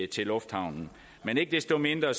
til lufthavnen men ikke desto mindre